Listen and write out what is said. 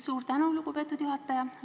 Suur tänu, lugupeetud juhataja!